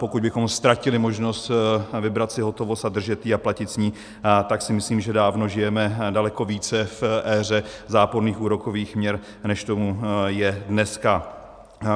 Pokud bychom ztratili možnost vybrat si hotovost a držet ji a platit s ní, tak si myslím, že dávno žijeme daleko více v éře záporných úrokových měr, než tomu je dneska.